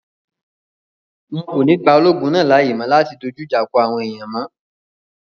Wọn kò ní gba ológun náà láàyè mọ́ láti dojú ìjà kọ àwọn èèyàn mọ́